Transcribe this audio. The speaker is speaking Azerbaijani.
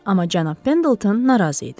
Amma cənab Pendelton narazı idi.